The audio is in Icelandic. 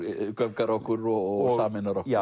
göfgar okkur og sameinar okkur